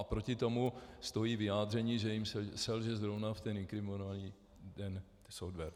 A proti tomu stojí vyjádření, že jim selže zrovna v ten inkriminovaný dne software.